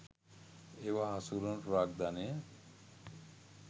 ඒවා හසුරුවන ප්‍රාග්ධනය